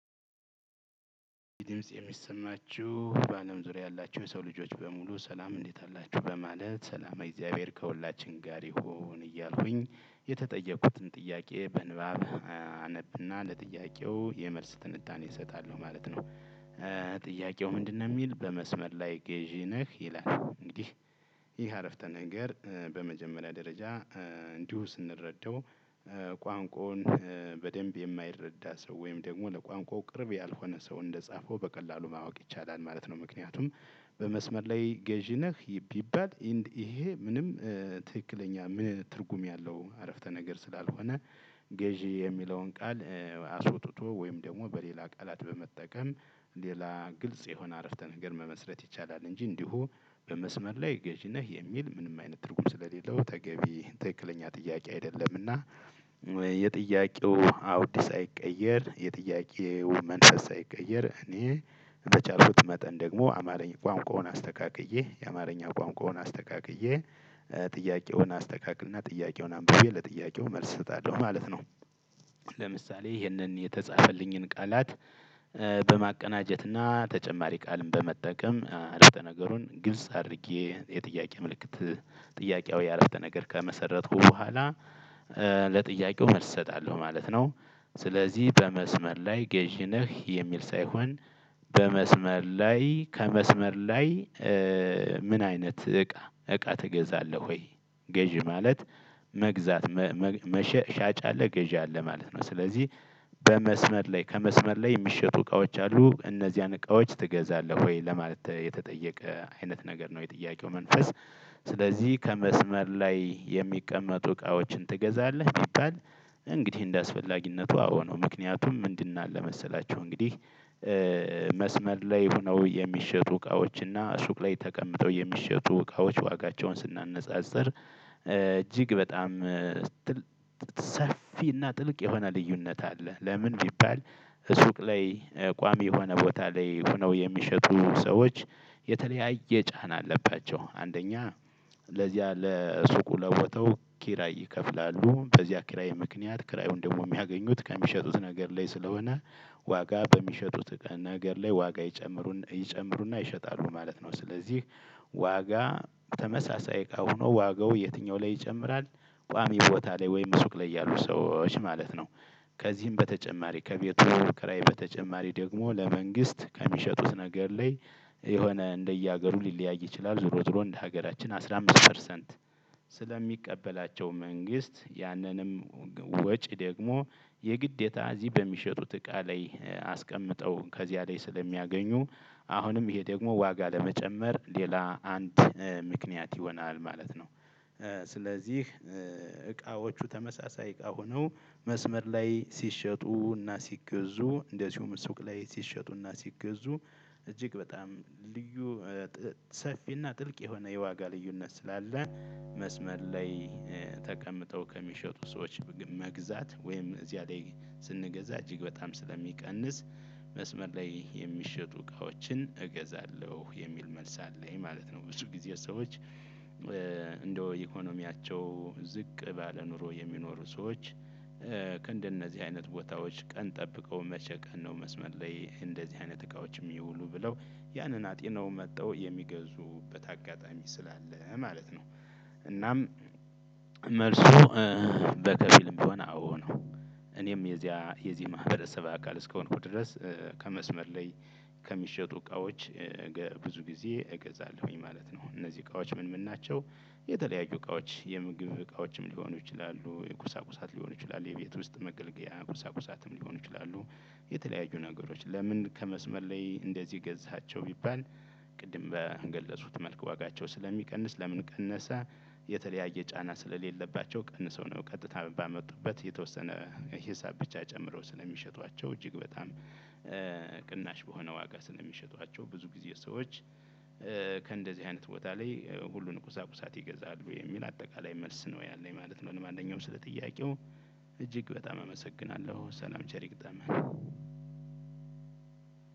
የሚሰማችሁ በአለም ዙሪያ ያላችሁ የሰው ልጆች በሙሉ ሰላም እንዴት አላችሁ በማለት ሰላማዊ እግዚአብሔር ከሁላችን ጋር ይሁን እያልኩኝ የተጠየቁትን ጥያቄ በንባብ አነብና ለጥያቄው የመልስ ትንታኔ እሰጣለሁ ማለት ነው። ጥያቄው ምንድነው? የሚል በመስመር ላይ ገዢ ነህ ይላል። እንግዲህ ይህ አረፍተ ነገር በመጀመሪያ ደረጃ እንዲሁ ስንረዳው ቋንቋውን በደንብ የማይረዳ ሰው ወይም ደግሞ ለቋንቋው ቅርብ ያልሆነ ሰው እንደጻፈው በቀላሉ ማወቅ ይቻላል ማለት ነው። ምክንያቱም በመስመር ላይ ገዢ ነህ? ቢባል ይሄ ምንም ትክክለኛ ምን ትርጉም ያለው አረፍተ ነገር ስላልሆነ ገዥ የሚለውን ቃል አስወጥቶ ወይም ደግሞ በሌላ ቃላት በመጠቀም ሌላ ግልጽ የሆነ አረፍተ ነገር መመስረት ይቻላል። እንጂ እንዲሁ በመስመር ላይ ገዥ ነህ የሚል ምንም አይነት ትርጉም ስለሌለው ተገቢ ትክክለኛ ጥያቄ አይደለም። እና የጥያቄው አውድ ሳይቀየር የጥያቄው መንፈስ ሳይቀየር እኔ በቻልኩት መጠን ደግሞ አማርኛ ቋንቋውን አስተካክዬ የአማርኛ ቋንቋውን አስተካክዬ ጥያቄውን አስተካክል እና ጥያቄውን አንብቤ ለጥያቄው መልስ እሰጣለሁ ማለት ነው። ለምሳሌ ይህንን የተጻፈልኝን ቃላት በማቀናጀትና ተጨማሪ ቃልም በመጠቀም አረፍተ ነገሩን ግልጽ አድርጌ የጥያቄ ምልክት ጥያቄው አረፍተ ነገር ከመሰረትኩ በኋላ ለጥያቄው መልስ እሰጣለሁ ማለት ነው። ስለዚህ በመስመር ላይ ገዢ ነህ የሚል ሳይሆን በመስመር ላይ ከመስመር ላይ ምን አይነት እቃ እቃ ትገዛለህ ወይ? ገዢ ማለት መግዛት ሻጭ አለ ገዢ አለ ማለት ነው። ስለዚህ በመስመር ላይ ከመስመር ላይ የሚሸጡ እቃዎች አሉ እነዚያን እቃዎች ትገዛለህ ወይ ለማለት የተጠየቀ አይነት ነገር ነው የጥያቄው መንፈስ። ስለዚህ ከመስመር ላይ የሚቀመጡ እቃዎችን ትገዛለህ ቢባል እንግዲህ እንዳስፈልግነቱ ነው። ምክንያቱም ምንድን አለ መሰላችሁ እንግዲህ? መስመር ላይ ሆነው የሚሸጡ እቃዎች እና ሱቅ ላይ ተቀምጠው የሚሸጡ እቃዎች ዋጋቸውን ስናነጻጽር እጅግ በጣም ሰፊና ጥልቅ የሆነ ልዩነት አለ። ለምን ቢባል? ሱቅ ላይ ቋሚ የሆነ ቦታ ላይ ሆነው የሚሸጡ ሰዎች የተለያየ ጫና አለባቸው አንደኛ ለዚያ ለሱቁ ለቦታው ኪራይ ይከፍላሉ በዚህ ኪራይ ምክንያት ኪራዩን ደግሞ የሚያገኙት ከሚሸጡት ነገር ላይ ስለሆነ ዋጋ በሚሸጡት ነገር ላይ ዋጋ ይጨምሩና ይሸጣሉ ማለት ነው። ስለዚህ ዋጋ ተመሳሳይ እቃ ሆኖ ዋጋው የትኛው ላይ ይጨምራል ቋሚ ቦታ ላይ ወይም ሱቅ ላይ ያሉ ሰዎች ማለት ነው። ከዚህም በተጨማሪ ከቤቱ ኪራይ በተጨማሪ ደግሞ ለመንግስት ከሚሸጡት ነገር ላይ የሆነ እንደየሀገሩ ሊለያይ ይችላል። ዞሮ ዞሮ እንደ ሀገራችን አስራ አምስት ፐርሰንት ስለሚቀበላቸው መንግስት ያንንም ወጪ ደግሞ የግዴታ እዚህ በሚሸጡት እቃ ላይ አስቀምጠው ከዚያ ላይ ስለሚያገኙ አሁንም ይሄ ደግሞ ዋጋ ለመጨመር ሌላ አንድ ምክንያት ይሆናል ማለት ነው። ስለዚህ እቃዎቹ ተመሳሳይ እቃ ሆነው መስመር ላይ ሲሸጡና ሲገዙ እንደዚሁም ሱቅ ላይ ሲሸጡና ሲገዙ እጅግ በጣም ልዩ ሰፊና ጥልቅ የሆነ የዋጋ ልዩነት ስላለ መስመር ላይ ተቀምጠው ከሚሸጡ ሰዎች መግዛት ወይም እዚያ ላይ ስንገዛ እጅግ በጣም ስለሚቀንስ መስመር ላይ የሚሸጡ እቃዎችን እገዛለሁ የሚል መልስ አለኝ ማለት ነው። ብዙ ጊዜ ሰዎች እንደው ኢኮኖሚያቸው ዝቅ ባለ ኑሮ የሚኖሩ ሰዎች እንደነዚህ አይነት ቦታዎች ቀን ጠብቀው መቼ ቀን ነው መስመር ላይ እንደዚህ አይነት እቃዎች ሚውሉ ብለው ያንን አጥ ነው መተው የምገዙበት አጋጣሚ ስላለ ማለት ነው። እናም መልሱ በከፊልም ቢሆን አዎ ነው። እኔም የዚያ የዚህ ማህበረሰብ አካል እስከሆንኩ ድረስ ከመስመር ላይ ከሚሸጡ እቃዎች ብዙ ጊዜ እገዛለሁኝ ማለት ነው። እነዚህ እቃዎች ምን ምን ናቸው? የተለያዩ እቃዎች የምግብ እቃዎችም ሊሆኑ ይችላሉ የቁሳቁሳት ሊሆኑ ይችላሉ የቤት ውስጥ መገልገያ ቁሳቁሳትም ሊሆኑ ይችላሉ። የተለያዩ ነገሮች ለምን ከመስመር ላይ እንደዚህ ገዛሃቸው ቢባል? ቅድም በገለጹት መልክ ዋጋቸው ስለሚቀንስ ለምን ቀነሰ? የተለያየ ጫና ስለሌለባቸው ቀንሰው ነው ቀጥታ ባመጡበት የተወሰነ ሂሳብ ብቻ ጨምረው ስለሚሸጧቸው እጅግ በጣም ቅናሽ በሆነ ዋጋ ስለሚሸጧቸው ብዙ ጊዜ ሰዎች ከእንደዚህ አይነት ቦታ ላይ ሁሉን ቁሳቁሳት ይገዛሉ የሚል አጠቃላይ መልስ ነው ያለኝ ማለት ነው። አንደኛው ስለ ጥያቄው እጅግ በጣም አመሰግናለሁ ሰላም ቸር ይግጠን።